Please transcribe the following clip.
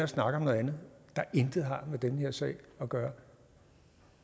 snakke om noget andet der intet har med den her sag at gøre